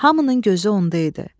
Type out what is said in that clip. Hamının gözü onda idi.